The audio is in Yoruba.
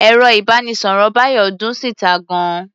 Ẹ̀rọ-ìbánisọ̀rọ̀ Bayo dún síta gan-an.